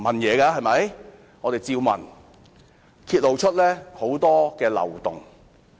我們不斷提問，結果揭露出很多漏洞。